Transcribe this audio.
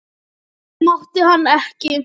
Það mátti hann ekki.